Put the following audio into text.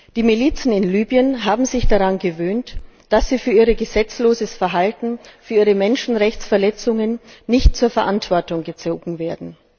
Die Milizen in Libyen haben sich daran gewöhnt, dass sie für ihr gesetzloses Verhalten, für ihre Menschenrechtsverletzungen nicht zur Verantwortung gezogen werden.